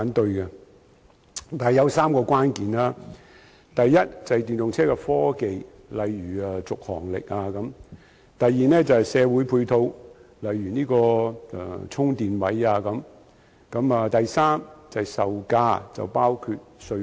但是，當中有3個關鍵，第一是電動車科技，例如續航力；第二是社會配套，例如充電位；第三是售價，包括稅項。